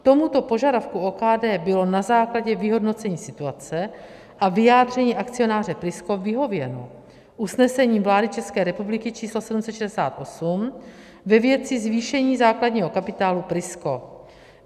Tomuto požadavku OKD bylo na základě vyhodnocení situace a vyjádření akcionáře Prisko vyhověno usnesením vlády České republiky číslo 768 ve věci zvýšení základního kapitálu Prisko.